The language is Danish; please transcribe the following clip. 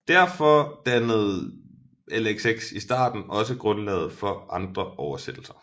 Derfor dannede LXX i starten også grundlaget for andre oversættelser